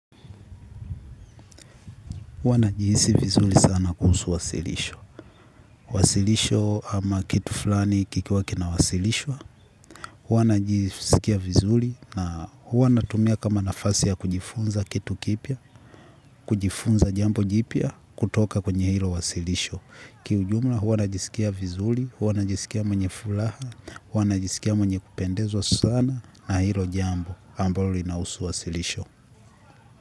Huwa najihisi vizuli sana kuhusu wasilisho. Wasilisho ama kitu fulani kikiwa kina wasilishwa. Huwa najiskia vizuli na huwa natumia kama nafasi ya kujifunza kitu kipya, kujifunza jambo jipya kutoka kwenye hilo wasilisho. Kiujumla, huwa najiskia vizuli, huwa najiskia mwenye fulaha, huwa najiskia mwenye kupendezwa sana na hilo jambo ambalo linahusu wasilisho.